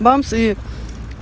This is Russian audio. бамсы